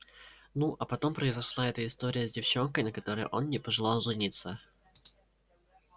ну а потом произошла эта история с девчонкой на которой он не пожелал жениться